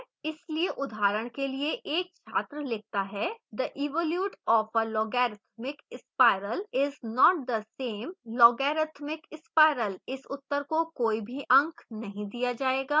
इसलिए उदाहरण के लिए: एक छात्र लिखता है the evolute of a logarithmic spiral is not the same logarithmic spiral